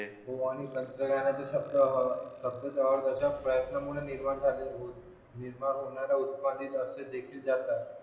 हो आणि तंत्रज्ञानाचे शब्द शब्द प्रयत्नामुळे निर्माण होणाऱ्या उत्पादन सुद्धा हे जास्त होते